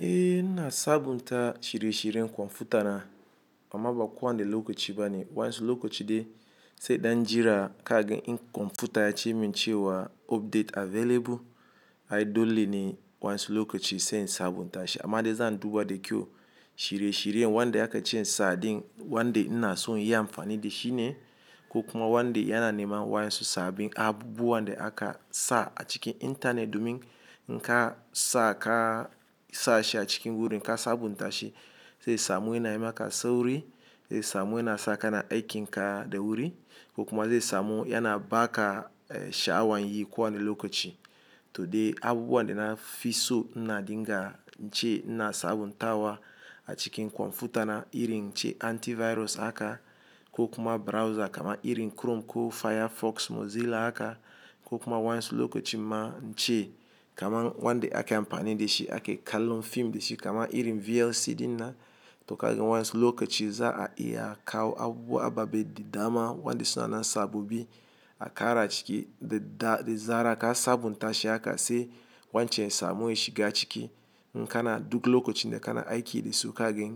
Eh na sabunta shirye-shiryen kwamfuta na, amma ba ko wanda lokaci ba ne. Wani su lokaci dai sai dan jira kaga kwamfuta ya ce min cewa update available. Ai dole ne wani su lokaci sai in sabunta shi. Amma dai zan duba da kyau shirye-shiryen wanda aka ci sa din, wanda ina so in yi amfani da shi ne, ko kuma wanda yana neman wayan su sabin abubuwan da aka sa a cikin intanet domin nka sa ka sa shi a cikin wurin ka sabunta shi. Zai samu yana yi maka sauri, zai samu yana sa ka na aiki nka da wuri, ko kuma zai samu yana ba ka sha'awan yi ko wanda lokaci. To dai abubuwan da na fi so na dinga ce na sabunta wa a cikin kwamfuta na, irin ce antivirus haka, ko kuma browser kama irin Chrome ko Firefox Mozilla haka, ko kuma wani su lokaci ma nce kamar wanda ake amfani da shi ake kallon fim da shi kama irin VLC din na. To kaga wani su lokaci za a iya kawo abubuwa babu baɗi dama wanda suna nan sabobi aka ara a ciki da zara ka sabunta shi aka sai wancan samu ya shiga ciki. Nka na duk lokacin da kana aiki da su kaga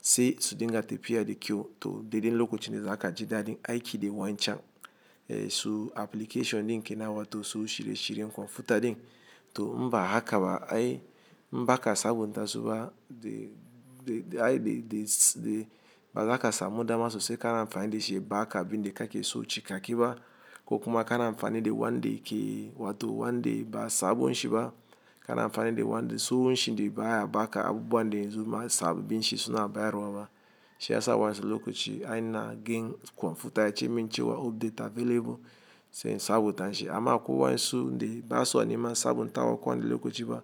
sai su dinga tafiya da kyau. To dai dai lokacin da za ka ji daɗin aiki da wancan su application ɗin ke nan wa to su shirye-shiryen kwamfuta din. To mba haka ba ai mba ka sabunta su ba dai ai dai bazaka samu dama sosai ka na amfani da shi ba aka bi ne kake so cikake ba. Ko kuma ka na amfani da wanda yake wato wanda ba sabon shi ba. Ka na amfani da wanda tsohon shi ne ba ya ba ka abubuwan da yanzu sababbin shi suna bayarwa ba. Shi ya sa wan su lokaci ai na gan kwamfuta ya ce min cewa update available sai in sabunta shi. Amma akwai wani su dai ba su a nema sabunta wa ko wanda lokaci ba.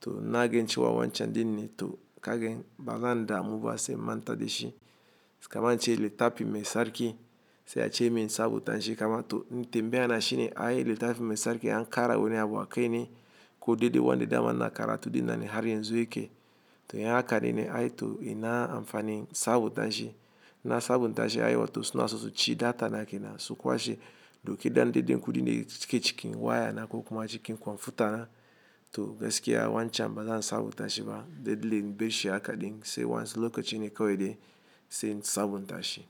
To na gan cewa wancan din ne to kaga bazan damu ba sai manta da shi. Kamar ce littafi mai sarki sai a ce min sabunta shi kama to tambaya na shi ne ai littafi mai sarki an ƙara wani abu akai ne. Ko dai dai wanda dama na karatu din nan har yanzu yake. To in haka din ne ai to ina amfani sabunta shi. Na sabunta shi ai wato suna sosai ci data na kenan su kwashe. Dauki dan dai kuɗin yake cikin waya na ko kuma cikin kwamfuta na. To gaskiya wancan bazan sabunta shi ba. Dai dai in bashi haka din sai wani su lokaci ne kawai dai sai in sabunta shi.